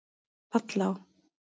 Vallá